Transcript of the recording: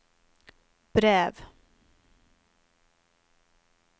brev